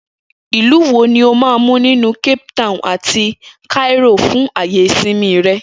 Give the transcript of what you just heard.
Ilu wo ni o máa mú nínú Cape Town àti Cairo fún àyè ìsinmi rẹ?